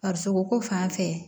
Farisoko fan fɛ